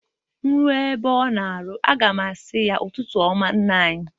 Nruo na-ebe ọ nọ ọrụ a ga m a sị ya,"Ụtụtụ ọma nna anyị!"